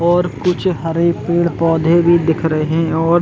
और कुछ हरे पेड़-पौधे भी दिख रहे और--